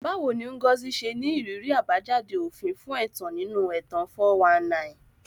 Báwo ni Ngozi ṣe ní ìrírí àbájáde òfin fún ẹ̀tàn nínú ẹ̀tàn 419?